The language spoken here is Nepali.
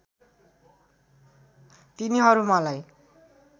तिनीहरू मलाई